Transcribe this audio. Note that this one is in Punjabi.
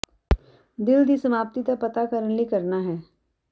ਦਿਲ ਦੀ ਸਮਾਪਤੀ ਦਾ ਪਤਾ ਕਰਨ ਲਈ ਕਰਨਾ ਹੈ